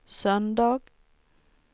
söndag